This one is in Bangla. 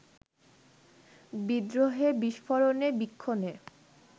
বিদ্রোহে, বিস্ফোরণে, বীক্ষণে